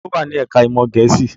Ta ló wà ní ẹ̀ká ìmọ̀ Gẹ̀ẹ́sì?